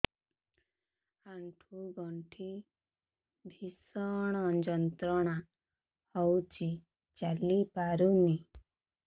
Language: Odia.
ଆଣ୍ଠୁ ଗଣ୍ଠି ଭିଷଣ ଯନ୍ତ୍ରଣା ହଉଛି ଚାଲି ପାରୁନି